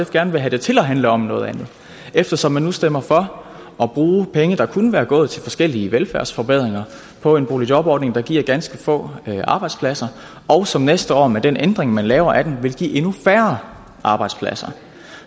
gerne vil have det til at handle om noget andet eftersom man nu stemmer for at bruge penge der kunne være gået til forskellige velfærdsforbedringer på en boligjobordning der giver ganske få arbejdspladser og som næste år med den ændring man laver af den vil give endnu færre arbejdspladser